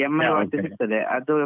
ಯ ಸಿಗ್ತದೆ ಅದು.